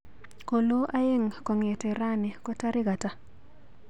Kolo aeng kong'ete rani kotarik ata.